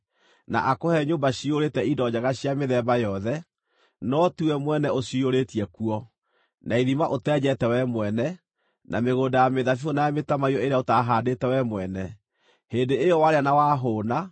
na akũhe nyũmba ciyũrĩte indo njega cia mĩthemba yothe, no tiwe mwene ũciyũrĩtie kuo, na ithima ũteenjete wee mwene, na mĩgũnda ya mĩthabibũ na ya mĩtamaiyũ ĩrĩa ũtaahandĩte wee mwene; hĩndĩ ĩyo warĩa na wahũũna,